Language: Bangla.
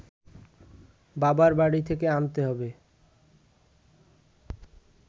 বাবার বাড়ি থেকে আনতে হবে